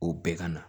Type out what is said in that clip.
O bɛɛ ka na